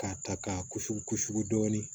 K'a ta k'a kusugu kusugu dɔɔnin